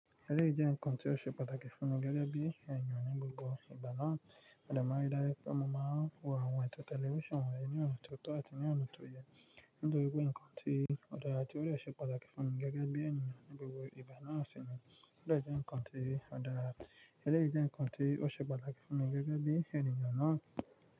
Ẹlẹ́yìí jẹ́ ǹkan tí ó ṣe pàtàkì fún mi gẹ́gẹ́ bí ènìyàn ní gbogbo ìgbà náà. Mo de máa ń rí dájú pé mo máa ń wo àwọn ètò tẹlifíṣàn wọ̀nyí ní ọ̀na tọ̀ tọ̀ àti ní ọ̀nà tó yẹ. Nítorí pé ǹkan tí ò dàra ti o dẹ́ ṣe pàtàkì fún mi gẹ́gẹ́ bí ènìyàn ní gbogbo ìgbà náà sì ni. Òde jẹ́ ǹkan tí ò dàra, elryií jẹ́ ǹkan tí ó ṣe pàtàkì fún mi gẹ́gẹ́ bí ènìyàn náà.